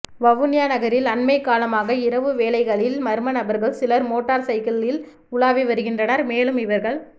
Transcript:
வவுனியா நகரில் அண்மைக்காலமாக இரவு வேளைகளில் மர்ம நபர்கள் சிலர் மோட்டார்சைக்கிளில் உலாவி வருகின்றனர் மேலும் இவர்கள்